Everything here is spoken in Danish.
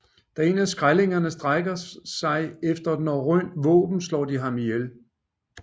Da en af skrællingerne strækker sig efter et norrønt våben slår de ham ihjel